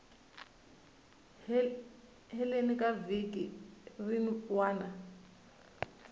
heleni ka vhiki rin wana